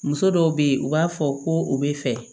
Muso dɔw be yen u b'a fɔ ko u bɛ fɛ